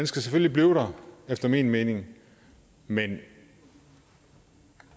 skal selvfølgelig blive der efter min mening men